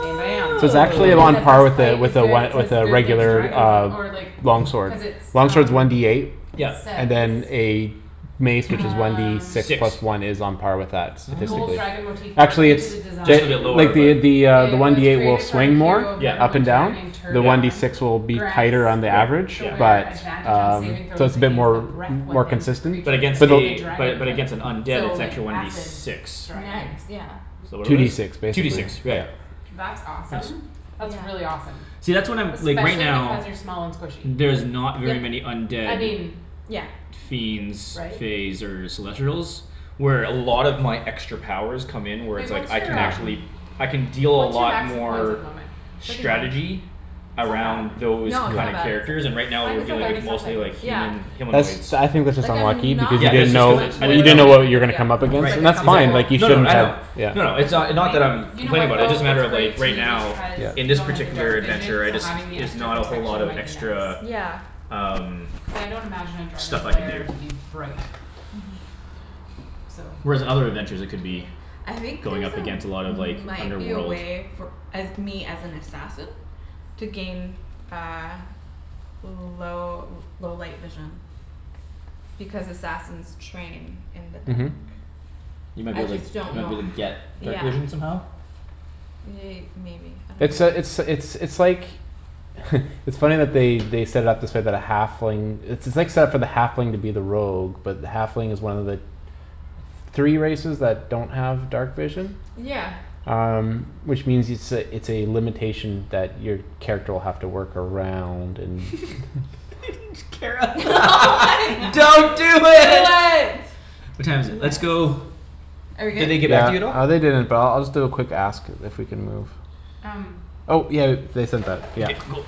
Bam bam So it's actually And then on the part with breastplace is a good, it one says with a good against regular dragons uh or like Long Cuz it's sword. Long sword's um one D eight It Yep and says then a Mace which is one D Um six Six. plus one is on par with that, Gold statistically. Nice. dragon motive Actually it's into the design. Just a t- bit lower like but. the The uh the It one was D eight will created for a swing more hero of Yep up and Neverwinter named down The one D yep Tergon. six will be Grants tighter on the average. the Yeah yeah. wearer But Advantage on saving um so throws it's a bit against the more breath More Weapons of consistent but But creatures against of the a the dragon but type. against an undead So it's like actually one D acid six. dragons. Nice yeah So what Two are D these? six Two D six. basically, Right. yeah. That's It's Tense. awesome. That's Yeah really awesome. See that's what I'm like right Especially now because you're small and squishy. There's not very Yep many undead I mean yeah fiends right? Faes or celestrials Where a lot of my extra powers come in where it's Wait like what's I can your um actually I can deal a What's your lot max hit points at more the moment? Thirty nine Strategy That's not Around bad those No it's kind of not bad characters it's and right I now mean we're Mine's still it's dealing with thirty not bad something. mostly it's like okay yeah Human That's humanoids. I think that's just Like I'm unlucky because not you Yeah didn't that's just know cuz it much I lower You didn't didn't than know know what you were everybody gonna else. come up It's just Right against. like And a that's couple fine exactly. like you No no no shouldn't I know. have. Yeah. A No couple no, it's points. uh not that I'm You know Complaining what about it, though? just a It's matter of like great right too now because Yeah. In you this don't have the particular dark vision, adventure, I so just having the Is extra not a whole lot protection of might be extra nice. Yeah Um Cuz I don't imagine a dragon's Stuff I can lair to be do bright. Mhm So Whereas in other adventures I could Yeah be I think going there's up a against a lot of like might be a underworld. way for uh me as an assassin To gain uh L- low low light vision Because assassins train in the Mhm dark. You might be I able to like just don't might know be able to h- get yeah dark vision somehow? Ye- maybe I It's uh it's dunno it's it's like It's funny that they they set it up this way but a halfling It's it's like set up for the halfling to be the rogue but the halfling is one of the Three races that don't have dark vision. Yeah Um which means it's a it's a limitation that your Character will have to work around and Kara Don't do it. What time is it? Let's Yes Yes go Are we Did good? they get back to you at Yeah all? uh they didn't but I'll just do a quick ask. If we can move. Um Oh yeah they said that Okay yeah cool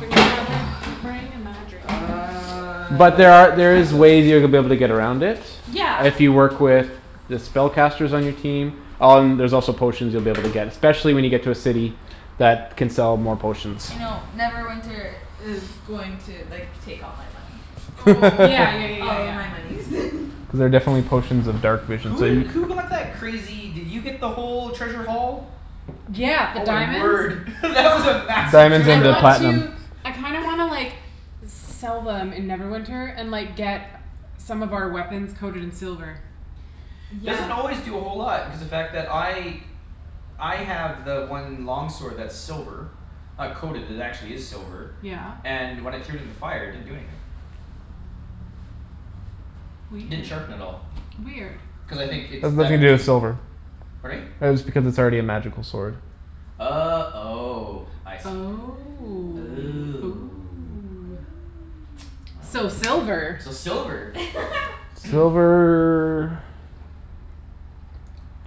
Bringing my drink. Bringing my drink. Uh I'm But like there are there is passed out. ways to be able to get around it. Yeah If you work with The spellcasters on your team Um there's also potions you'll be able to get Specially when you get to a city. I That can sell more potions. I know Neverwinter is going to like take all my money. Oh Yeah yeah yeah yeah All of yeah. my monies Cuz there are definitely potions of dark vision Who so you did who got that crazy did you get the whole treasure haul? Yeah, the Oh my diamonds word that was a massive Diamonds I and treasure the haul. want to platinum. I kinda wanna like Sell them in Neverwinter and like get Some of our weapons coated in silver. Yeah Doesn't always do a whole lot because the fact that I I have the one long sword that's silver. Not coated, it actually is silver. Yeah. And when I threw it in the fire it didn't do anything. Didn't Weird. sharpen at all. Weird. Cuz I think it's That's deft nothing or to do with silver. Pardon me? That is because it's already a magical sword. Oh oh I see. Oh Oh oh. So Well then. silver. So silver. Silver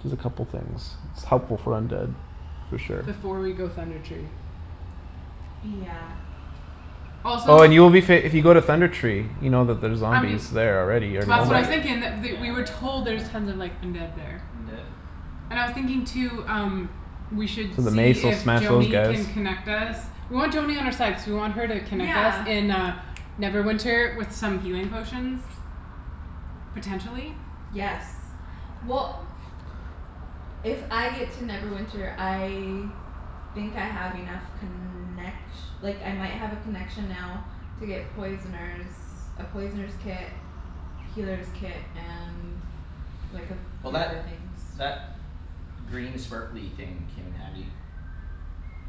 Does a couple things. It's helpful for undead for sure. Before we go Thunder Tree. Yeah Also Oh and you will be fa- if you go to Thunder Tree You know that there's I mean zombies there already or Oh That's what I was right, yeah. thinking that th- we were told there's tons of like undead there. Undead? And I was thinking too um We should So the see mace will if smash those Joany guys. can connect us Yep. We want Joany on our side cuz we want her to connect us Yeah in uh Neverwinter with some healing potions. Potentially. Yes well If I get to Neverwinter I Think I have enough connec- Like I might have a connection now To get poisoner's A poisoner's kit Well that Healer's kit and like a few that other things. green sparkly thing came in handy.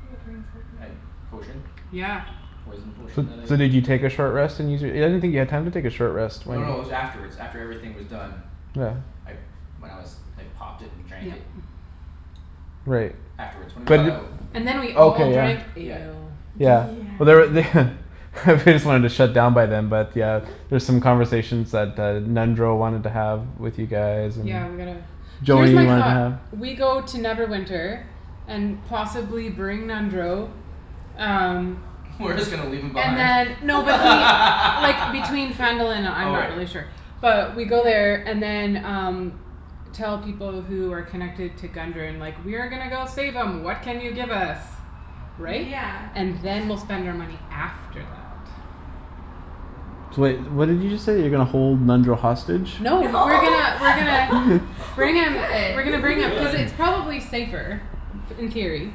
What green sparkly Uh thing? potion. Yeah The poison potion So that I so did you take a short rest and use your I didn't think you had time to take a short rest No when no it was afterwards. After everything was done. Yeah I when I was I popped it and drank Yep it. Right. Afterwards when we got But out And then we did all drank okay yeah. Yeah. ale. Yeah Yeah but there're they They just wanted to shut down by them but yeah There's some conversations that uh Nundro wanted to have with you guys and Yeah we gotta here's Joany my wanted to thought. have. Yeah We go to Neverwinter. And possibly bring Nundro Um We're just gonna leave him And behind? then no but he like between Phandalin and uh I'm Oh not right. really sure But we go Yeah there and then um Tell people who are connected to Gundren like, "We are gonna go save 'em, what can you give us?" Right? Yeah And then we'll spend our money after that. So wait, what did you just say? You're gonna hold Nundro hostage? No No we're gonna we're gonna Bring We him we're gonna We could bring him cuz could. it's probably safer in theory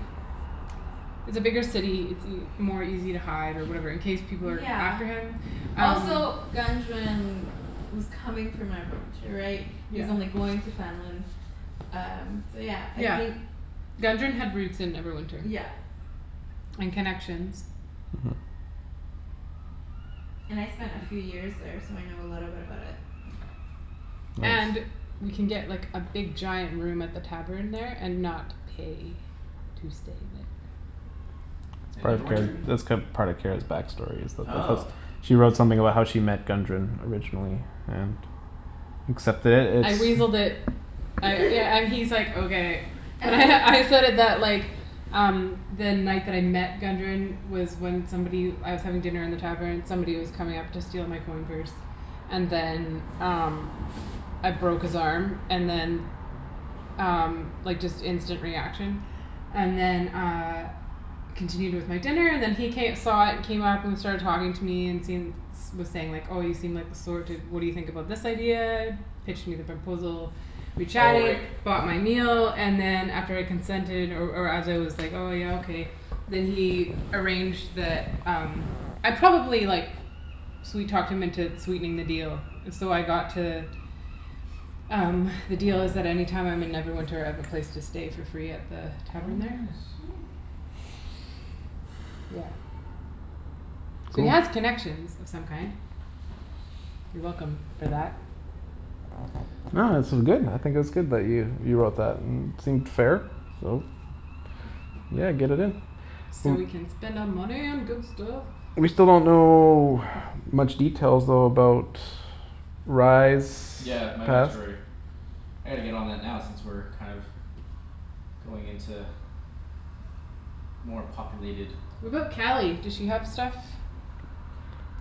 It's a bigger city. It's ea- more easy to hide or whatever in case people are Yeah after him um Also Gundren was coming from Neverwinter right? He Yeah was only going to Phandalin Um so yeah I Yeah. think Gundren had roots in Neverwinter. Yeah And connections. Mhm And I spent a few years there so I know a little bit about it. And Nice we can get like a big giant room at the tavern there and not pay to stay It's In part of Kara's Neverwinter? it's cu- there part of Kara's back story is the Oh host She wrote something about how she met Gundren originally, and Accept it, I it's weaseled it I yeah and he's like, "Okay." And I said that like Um the night that I met Gundren Was when somebody I was having dinner in the tavern, somebody was coming up to steal my coin purse. And then um I broke his arm and then Um like just instant reaction And then uh Continued with my dinner and then he ca- saw it came up started talking to me and seen Was saying like, "Oh you seem like the sort to what do you think about this idea?" Pitched me the proposal We Oh chatted, right. bought my meal, and then And after I consented or or as I was Like, "Oh yeah okay", then he Arranged the um I probably like Sweet talked him into sweetening the deal, so I got to Um the deal is that any time I'm in Neverwinter I have a place to stay for free at the Oh tavern there nice. Yeah So we Cool have connections of some kind. You're welcome for that. No this is good. I think it's good that you you wrote that. It seemed fair, so. Yeah get it in. So we W- can spend our money on good stuff. We still don't know much details though about Rye's Yeah my past. backstory. I gotta get on that now since we're kind of Going into More populated. What about Cali? Does she have stuff?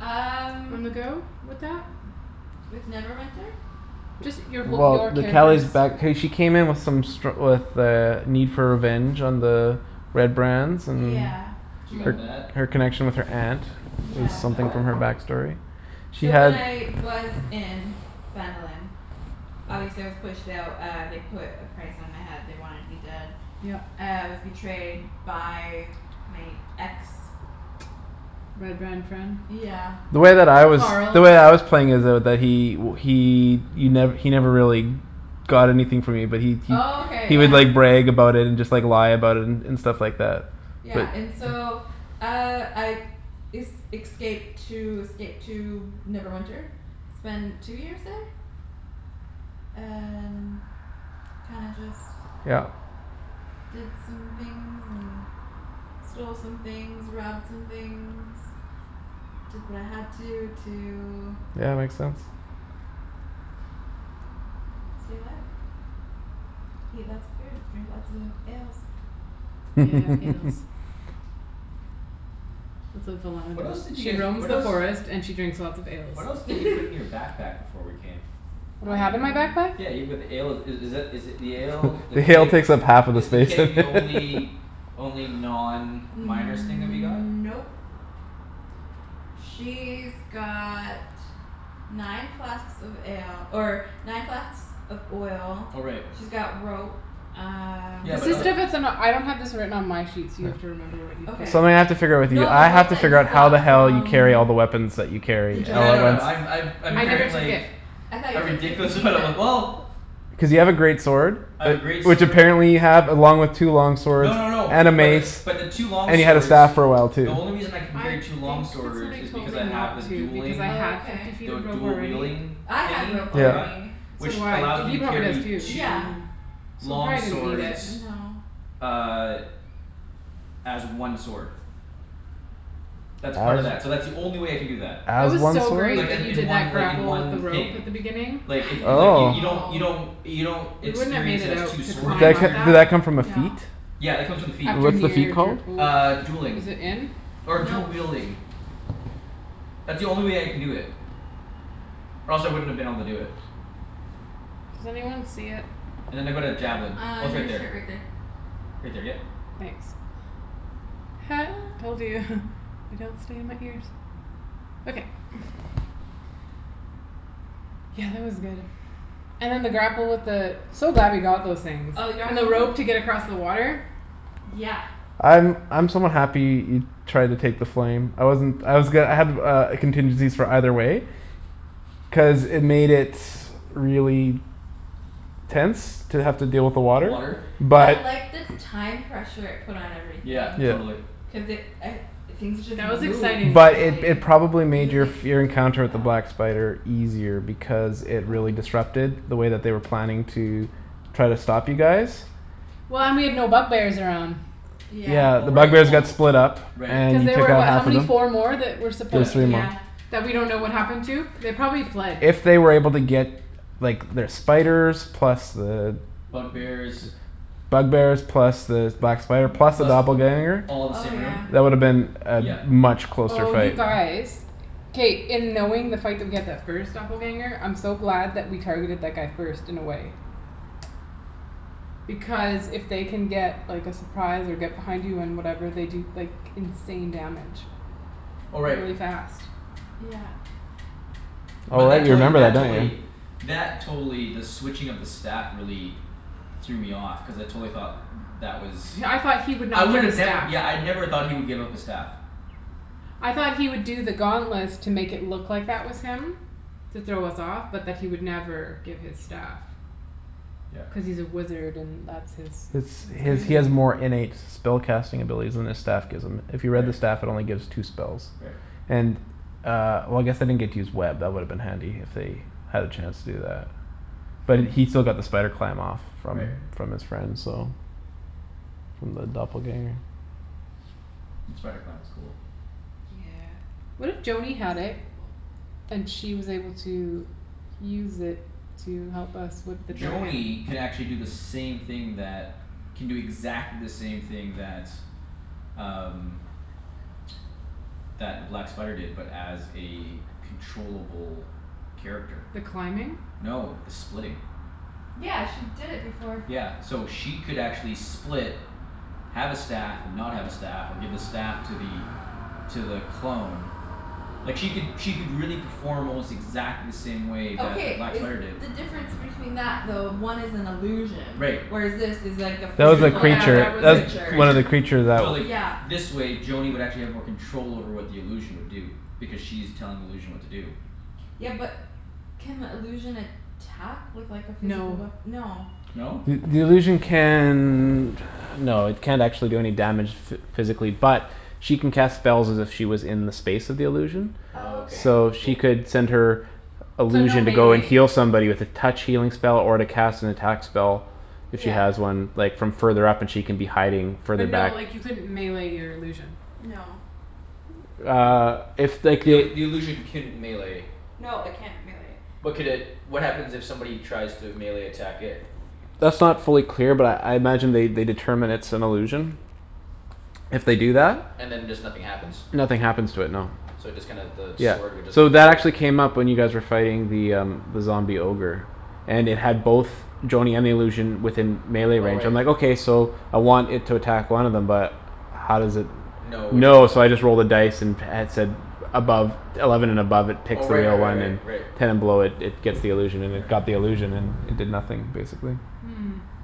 Um On the go with that? With Neverwinter? Just your whole your Well the character's Cali's back hey she came in with some stru- With a need for revenge on the Red Brands and Yeah She got that. Her her connection with her aunt. She Is got Yeah something that. from her back story. She So when had I was in Phandalin Obviously I was pushed out uh they put a price on my head they wanted me dead. Yep Uh I was betrayed by my ex Red Brand friend? Yeah The way that I was the Carl way I was playing is though that he he y- he never really Got anything from me but he he Okay He would yeah like brag about it and just lie about it and And stuff like that Yeah but and so uh I Es- excaped to escaped to Neverwinter Spend two years there And kinda just Yeah Did some things and stole some things, robbed some things. Did what I had to to Yeah makes sense. Stay alive Eat lots of food drink lots of ales Yeah, ales It's what Velana What else does. did you She guys roams what the else forest and she drinks lots of ales. What else did you put in your backpack before we came? What A do I have in my lot backpack? Yeah you put the ale i- is that is it the ale The The ale keg takes up half of the is the space keg the only Only non miner's thing that we got? Nope She's got nine flasks of ale or nine flasks of oil Oh right. She's got rope um Yeah Is but this the other stuff that's in a I don't have this written on my sheet so you have to remember what you put Okay in. Something I have to figure out with you. No the I have rope to that figure you out how the got hell you from carry all the weapons that you the carry. A Yeah giant no no limit. I'm I've I'm I never carrying remember? took like it. I thought A you took ridiculous fifty feet amount of of w- it? well Cuz you have a great sword. I have a great Which sword apparently you have along with two long swords No no no and a but the mace. but the two long And you had a swords staff for a while The too. only reason I can I carry two long think that swords somebody is told because me I not have a to because dueling I had Okay fifty The feet of w- rope dual already wielding I had thingy rope that I got Yeah. already So Which do I. allows me He to he probably does carry too. Yeah two So we Long probably Oh didn't need it. s- swords no Uh As one sword. That's part of that. So that's the only way I can do that. That As was one so sword? great Like uh that you in did one that like in grapple with the one rope thing. at the beginning Like it it like y- Oh you don't you I know don't You don't We wouldn't have made experience it it as out two to Did swords, you that climb c- up experience did that that. come from a feat? No Yeah it comes with the feat. After What's the near feat dr- called? oh. Uh dueling. Is it in? Or dual Nope wielding. That's the only way I can do it. Or else I wouldn't have been able to do it. Does anyone see it? And then I've got a javelin. Uh Oh it's on right your there. shirt right there Right there yep Thanks Told you, they don't stay in my ears. Okay Yeah that was good. And then the grapple with the So glad we got those things. Oh we got And the rope to get across the water. Yeah I'm I'm somewhat happy he Tried to take the flame. I wasn't I was go- I had uh contingencies for either way Cuz it made it really Tense to have to deal with the Water water I But liked the time pressure it put on everything. Yeah Yeah totally. Cuz it I things just That was moved exciting. But it finally it probably I made guess your like Your encounter with the felt black spider easier Because it really disrupted the way that they were planning to Try to stop you guys Well and we had no bug bears around. Yeah Yeah Oh the bug right bears well got split up right Cuz And you they took were out what how half of many? them Four more? That were Yeah supposed There's three to more. Yeah That we don't know what happened to? They probably fled. If they were able to get Like their spiders plus the Bug bears Bug bears plus the black spider plus the Plus th- doppelganger all the Oh same room yeah That woulda been Yep A much closer Oh you fight. guys. K, in knowing the fight that we had that first doppelganger I'm so glad that we targeted that guy first in a way. Because if they can get like a surprise and get behind you and whatever they can do like insane damage. Oh right. Really fast. Yeah But Oh that you totally remember that that don't totally you? That totally the switching of the staff really Threw me off cuz I totally thought That was Yeah I thought he would I not get a would've never staff. yeah I never thought he would give up the staff. I thought he would do the gauntlets to make it look that was him To throw us off but that he would never give his staff. Yeah Cuz he's a wizard and that's his. It's That's he has he crazy. has more innate Spell casting abilities than his staff. Gives him. If you read the Right staff it only gives two spells. Right And uh well I guess they didn't get to use web, that woulda been handy if they Had a chance to do that. But he still got the spider climb off. From Right from his friend so From the doppelganger. The spider clam was cool. Yeah What It's if pretty Joany had it cool. And she was able to use it to help us with the dragon? Joany can actually do the same thing that Can do exactly the same thing that um That the black spider did but as a Controllable character. The climbing? No the splitting. Yeah she did it before. Yeah so she could actually split Have a staff and not have a staff or give a staff to the To the clone Like she could she could really perform almost exactly the same way that the Okay black is spider did. the difference between that though one is an illusion Right. Whereas this is like a That was a physical Yeah other that creature. was a Right. that was creature. One of Creature the creatures that So like Yeah this way Joany would actually have more control over what the illusion would do. Because she's telling the illusion what to do. Yeah but can illusion attack with like a physical No wea- no No? The the illusion can No it can't actually do any damage. Physically but she can cast Spells as if she was in the space of the illusion Oh Okay So okay. she cool. could send her So no Illusion to go and melee heal somebody with a Touch healing spell or to cast an attack spell. If she Yeah has one like from further up and she can be hiding further But no back like you couldn't melee your illusion. No Uh if like The ill- it the illusion can melee No it can't melee. But could it what happens if somebody tries to melee attack it? That's not fully clear but I I imagine they determine it's an illusion If they do that And then just nothing happens? Nothing happens to it no. So it just kinda the Yeah, sword would just so go through that it? actually came up when you guys were fighting the um The zombie ogre. And it had both Joany and the illusion within Melee Oh range right. I'm like okay so I want it to attack one of them but How does it No which know one? so I just rolled a dice. And at said above Eleven and above it Oh picks the right right real right one right and right. Ten and below it gets the illusion and it Right. Got the illusion and it did nothing basically.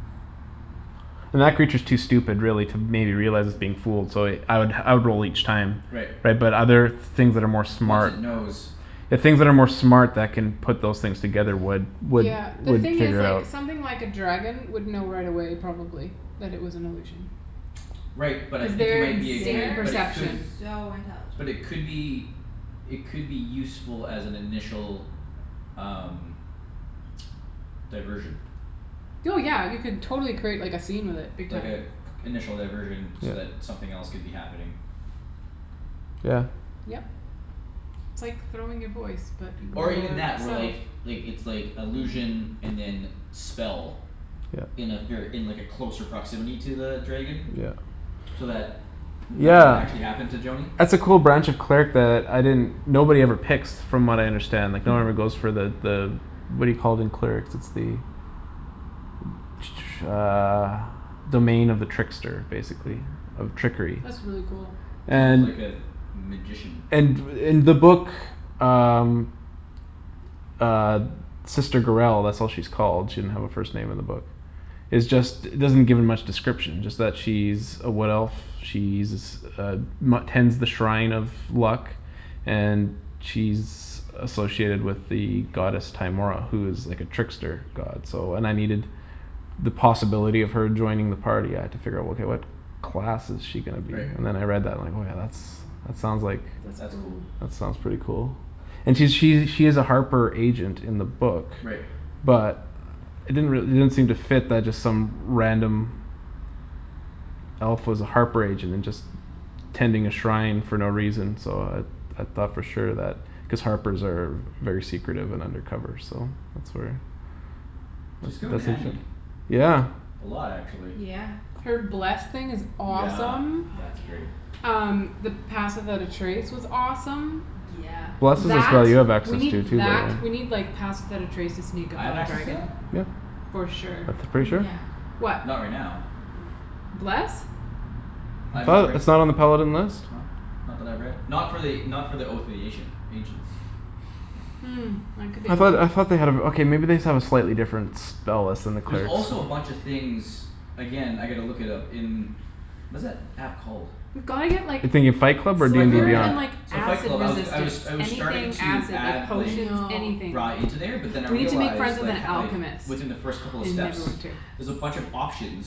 And that creature's too stupid really to maybe realize it's being fooled so I would I would roll each time. Right Right but other things that are more Once smart it knows. The things that are more smart that can Put those things together would would Yeah the Would thing is figure it like out. something like a dragon would know right away probably. That it was an illusion Right but I cuz think you their might be a good insane but it could They're perception. so But intelligent. it could be It could be useful as an initial um Diversion. Oh yeah you could totally create like a scene with it big Like time. a initial diversion so that something else could be happening. Yeah. Yep. It's like throwing your voice, but Or even your that or self. like like it's like illusion and then spell. Yeah. In a ver- in like a closer proximity to the dragon. Yeah So that nothing would actually Yeah happen to Joany. that's a cool branch of cleric that I didn't Nobody ever picks from what I understand like No Hmm one ever goes for the the What do you call it in clerics it's the Uh Domain of the trickster Hmm basically. Of trickery. That's really cool. It's almost like And Mhm a magician. And in the book uh Uh Sister Gurell that's what she's called she didn't have her first name in the book. Is just doesn't give me much description it's just she's A wood elf. She's uh Tends the shrine of luck And she's Associated with the goddess Timora who is like a trickster god so and I needed The possibility of her joining the party I had to figure out okay what Class is she gonna be Right. and then I read that line oh yeah that's that sounds like That's That's cool. cool. That sounds pretty Mhm. cool And she she's a harper agent in the book Right. But It didn't re- it didn't seem to fit that just some random Elf was a harper agent and just Tending a shrine for no reason so uh I thought for sure that cuz harpers are Very secretive of undercover so that's where She's Tha- come in that seems like handy. yeah A lot actually. Yeah Her bless thing is Yeah awesome. Fuck that's yeah great. Um the pass without a trace was awesome Yeah Bless is a That spell you have we access need to too though that right we Ye- need like pass without a trace to sneak I up have on a access to dragon. that? Yeah For sure. That's pretty sure Yeah What? Not right now Bless? I I'm not thought right it it's not on the paladin list? Not that I've read. Not for the not for the oath of the Asian ancients. Hmm, that could be I a thought lie. I thought they had a okay maybe they just have a slightly different Spell list than the There's clerics also a bunch of things Again I gotta look it up in Was that app called? We've gotta get like The thing in Fight Club or Fight Club DND silver yeah. and like beyond? So Fight Acid Club. I was g- I was resistance. I was starting Anything to acid. add Like I like potions, know. anything. Rye into there but then I We need to make friends realized with like an h- like alchemist Within the first couple of in steps Neverwinter. There's a Yes bunch of options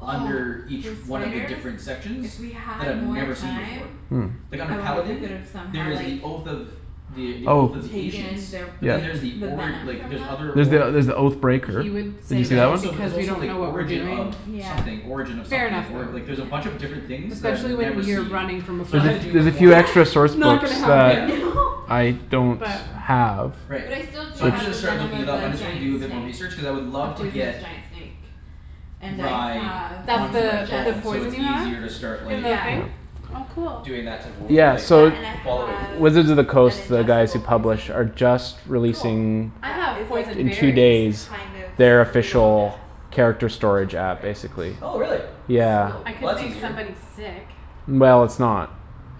Oh Under each those one of the spiders different sections If we That had I've more never seen before. time Hmm Like under I wonder if we Paladin, could've there somehow is like the oath of The oath of Oath the ancients. Taken their But then like Yeah there's the the ori- venom like from there's them other There's the org there's the oath breaker He would Did you say But see there's that one? that also there's because we also don't like know what we're origin of doing Yeah Something origin of Fair something enough or- Yeah like though. there's a bunch of different things for sure that I've Especially when never you're seen. running from a There's So I need to flood. a do a there's bit a more few extra Yeah source Not books gonna yeah that happen. I don't But have Right. But I still do So i needed have Which to the start venom looking of it up. I the just need to giant do a bit more snake research cuz I would A love to poisonous get giant snake And I Rye have an That's onto my the the phone ingest so it's poison you have easier to start in like the yeah thing? Oh cool Doing that type of wor- Yeah like That so and I following. have Wizards of the an Coast the guys ingestible who poison. publish are just Cool. Releasing I That have is like poison in two berries. days kind of Their slow official death character Which is storage app great. basically. Oh really. Yeah Slow I Well painful could that's make easier. death. somebody sick Well it's not